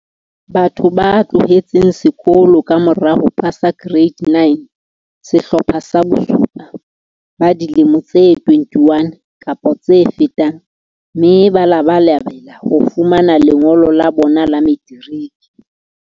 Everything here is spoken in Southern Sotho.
Batho ba tloheletseng sekolo ka mora ho pasa Ke reite 9 Sehlopha sa bo 7, ba dilemo tse 21 kapa tse fetang, mme ba labalabela ho fumana lengolo la bona la materiki.